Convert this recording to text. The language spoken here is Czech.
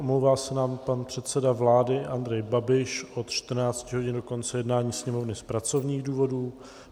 Omlouvá se nám pan předseda vlády Andrej Babiš od 14 hodin do konce jednání Sněmovny z pracovních důvodů.